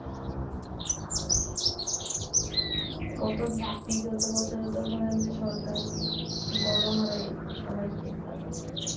হম গতবছরে তো ধরেন যে সরকার গণহারে A positive দিলো